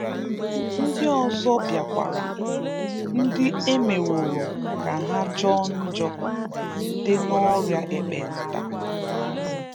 Ndị ọzọ bịakwara, ndị emeworo ka ha jọọ njọ site n’ọria ekpenta.